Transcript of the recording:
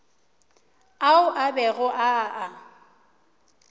ao a bego a a